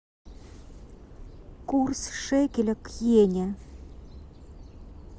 курс шекеля к йене